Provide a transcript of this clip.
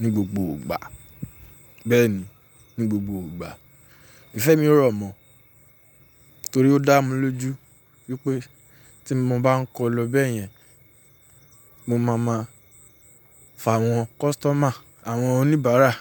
ní gbogbo ìgbà. Bẹ́ẹ̀ ni, ní gbogbo ìgbà. Ìfẹ́ mi ò rọ̀mọ́ torí ó dá mi lójú wípé tí mo bá ń kọ́ lọ bẹ́yẹn, mo máa ma fàwọn kọ́sítọ́mà, àwọn oníbàárà.